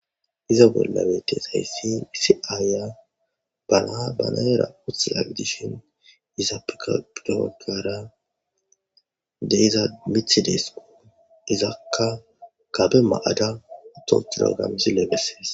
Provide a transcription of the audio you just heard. iza bolla betizayssi issi aayiya bana ba na7eera uthida gidishin izapeka gede baggara de7iza mithi deeskko izakka gabe ma7ada utta uttiroga misile bessees.